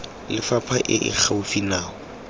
lefapha e e gaufi nao